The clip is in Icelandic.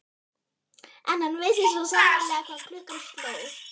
En hann vissi svo sannarlega hvað klukkan sló.